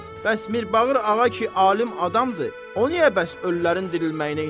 Bəs Mirbağır ağa ki, alim adamdır, o niyə bəs ölülərin dirilməyinə inanır?